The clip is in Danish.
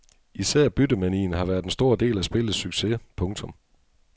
Især byttemanien har været en stor del af spillets succes. punktum